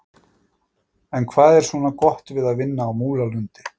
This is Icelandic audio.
En hvað er svona gott við að vinna á Múlalundi?